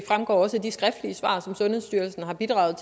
fremgår også af de skriftlige svar som sundhedsstyrelsen har bidraget